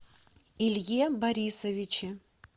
илье борисовиче